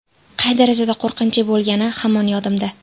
Qay darajada qo‘rqinchli bo‘lgani hamon yodimda.